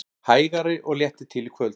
Hægari og léttir til í kvöld